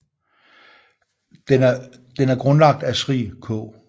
Den er grundlagt af Sri K